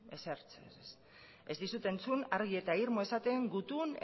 ezer ez ez dizut entzun argi eta irmo esaten gutun